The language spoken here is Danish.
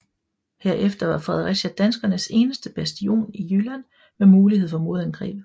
Herefter var Fredericia danskernes eneste bastion i Jylland med mulighed for modangreb